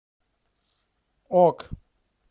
ок